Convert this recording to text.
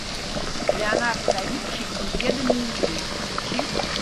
леонардо да винчи неизведанные миры включи